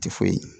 Tɛ foyi ye